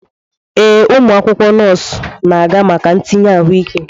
Ee, ụmụ akwụkwọ nọọsụ na-aga maka ntinye ahụike.